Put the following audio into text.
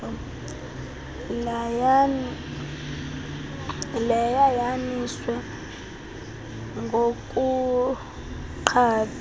layan yaniswe nokuphatha